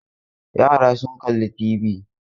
Yara sun kalli TV.